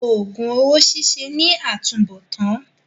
Òògùn owó ṣíṣe ní àtúnbọ̀tán.